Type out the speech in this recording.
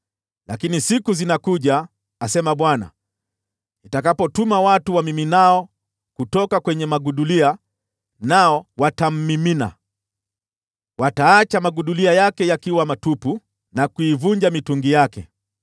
Lakini siku zinakuja,” asema Bwana , “nitakapotuma watu wamiminao kutoka kwenye magudulia, nao watamimina; wataacha magudulia yake yakiwa matupu na kuvunja mitungi yake.